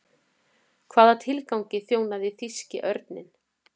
Hvaða tilgangi þjónaði þýski örninn?